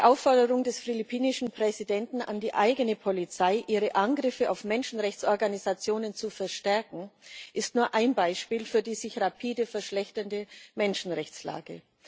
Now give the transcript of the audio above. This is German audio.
Die Aufforderung des philippinischen Präsidenten an die eigene Polizei, ihre Angriffe auf Menschenrechtsorganisationen zu verstärken, ist nur ein Beispiel für die sich rapide verschlechternde Menschenrechtslage.